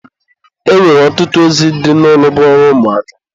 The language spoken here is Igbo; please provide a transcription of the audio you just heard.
E nwere ọtụtụ ozi dị n'ụlọ bụ ọrụ ụmụaka.